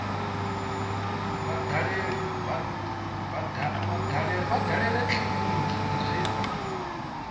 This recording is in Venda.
vha dalele kiliniki i re